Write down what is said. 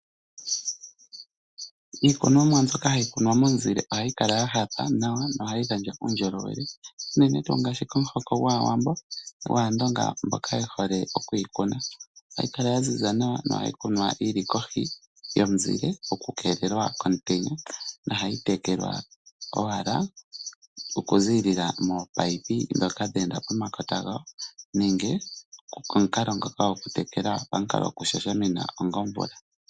Iikunomwa mbyoka hayi kunwa momuzile ohayi kala ya hapa nawa nohayi gandja uundjolowele unene tuu ngaashi komuhoko gwAawambo, gwAandonga mboka ye hole okuyi kuna. Ohayi kala ya ziza nawa nohayi kunwa yi li kohi yomuzile okukeelela komutenya nohayi tekelwa owala okuziilila koopaipi ndhoka dhe enda pomakota gayo nenge omukalo ngoka gokutekela pamukalo gokushashamina onga omvula.